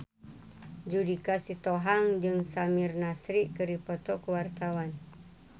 Judika Sitohang jeung Samir Nasri keur dipoto ku wartawan